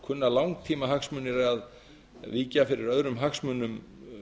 kunna langtímahagsmunir að víkja fyrir öðrum hagsmunum